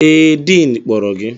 Ee, diin kpọrọ gị